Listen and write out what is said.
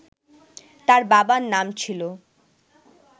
তার বাবার নাম ছিল